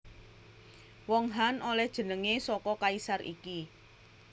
Wong Han olèh jenengé saka kaisar iki